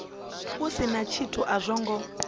si na tshithu a zwo